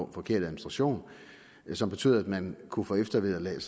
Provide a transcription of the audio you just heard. en forkert administration som betød at man kunne få eftervederlag